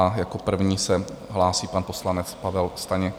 A jako první se hlásí pan poslanec Pavel Staněk.